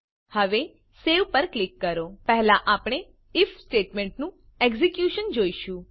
હવે સવે પર ક્લિક કરો પહેલા આપણે આઇએફ સ્ટેટમેંટ નું એક્ઝેક્યુશન જોઈશું